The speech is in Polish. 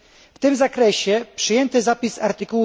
W tym zakresie przyjęty zapis art.